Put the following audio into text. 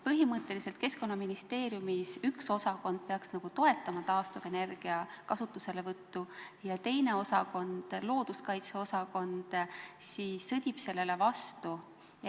Põhimõtteliselt peaks Keskkonnaministeeriumi üks osakond toetama taastuvenergia kasutuselevõttu ja teine osakond, looduskaitse osakond, sõdib sellele vastu.